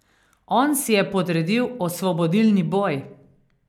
On si je podredil osvobodilni boj!